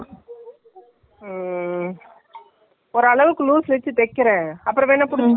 ஏன்னா இப்போ lining எல்லாம் ready ஆ இருக்குது.நான் அந்த பச்சை color யவே வச்சி தைச்சிகளானு இருக்கேன்.அளவுக்கு .